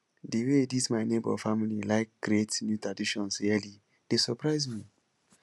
di wey this my nebor family like create new traditions yearly dey surprise me